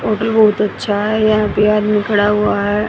Hotel बहुत अच्छा है यह पे आदमी खड़ा हुआ है।